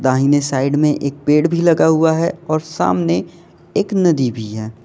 दाहिने साइड में एक पेड़ भी लगा हुआ है और सामने एक नदी भी है।